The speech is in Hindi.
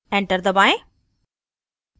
enter दबाएं